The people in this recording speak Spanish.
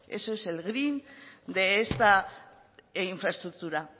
eso es el green de esta infraestructura